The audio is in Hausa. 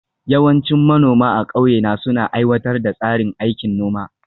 Yawancin manoma a ƙauye na suna aiwatar da tsarin aikin noma